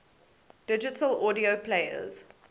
digital audio players